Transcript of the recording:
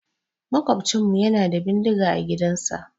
Maƙwabcinmu yana da bindiga a gidansa.